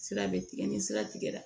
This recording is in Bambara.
Sira bɛ tigɛ ni sira tigɛra